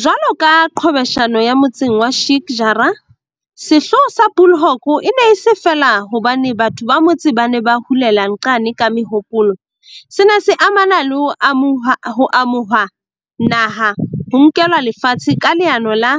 Jwalo ka qhwebeshano ya motseng wa Sheik Jarrah, sehloho sa Bulhoek e ne e se feela hobane batho ba motse ba ne ba hulela nxane ka mehopolo, se ne se amana le ho amohuwa naha, ho nkelwa lefatshe ka leano la